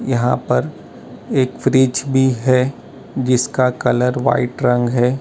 यहां पर एक फ्रिज भी है जिसका कलर वाइट रंग है।